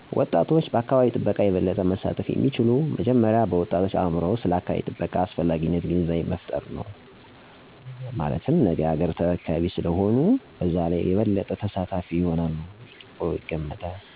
ወጣቶች በአካባቢ ጥበቃ የበለጠ መሳተፍ የሚችሉት መጀመሪያ በወጣቶች አእምሮ ውስጥ ስለ አካባቢ ጥበቃ አስፈላጊነት ግንዛቤ በመፍጠር ነው። ማለትም የነገ አገር ተረካቢ ዜጋ ስለሆኑ የአካባቢ ጥበቃ ላይ በንቃት ካልተሳተፊ መኖር እደማይችሉ የአየር ብክለት እንደሚያጋጥም :የደኖች መመናመን :የአፈር መሸርሸር :የወንዞች መቀነስ: የተሟላ ዝናብ አለማግኘት :የምርት እጥረት እንደሚያጋጥም በማስረዳት በስፋት እንዲሳተፉ ማድረግ ለዚህም ተነሳሽነት የሚያግዙ የትምህርት ቤት ክበቦችን በማጠናከር አስፈላጊውን ትኩረት በመስጠት በጽዳት ዘመቻወች በመሳተፍ ምቹና ንጹህ አካባቢን መፍጠር።